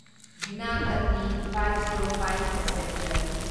ꯕꯤꯅꯥ ꯀꯠꯅꯤ ꯐꯥꯢꯕ ꯓꯤꯔꯣ ꯐꯥꯢꯕ ꯄꯦꯁꯦꯟꯖꯔ